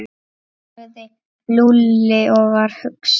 sagði Lúlli og var hugsi.